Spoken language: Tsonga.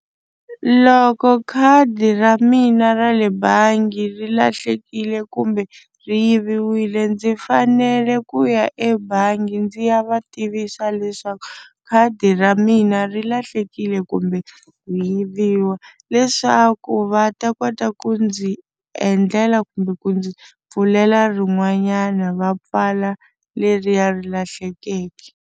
Loko khadi ra mina ra le bangi ri lahlekile kumbe ri yiviwile ndzi fanele ku ya ebangi ndzi ya va tivisa leswaku khadi ra mina ri lahlekile kumbe ku yiviwa leswaku va ta kota ku ndzi endlela kumbe ku ndzi pfulela rin'wanyana va pfala leriya ri lahlekeke.